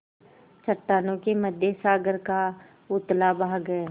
चट्टानों के मध्य सागर का उथला भाग है